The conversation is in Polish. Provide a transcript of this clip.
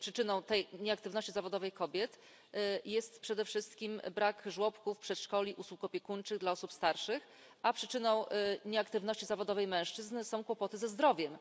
Przyczyną tej nieaktywności zawodowej kobiet jest przede wszystkim brak żłobków, przedszkoli, usług opiekuńczych dla osób starszych, a przyczyną nieaktywności zawodowej mężczyzn są kłopoty ze zdrowiem.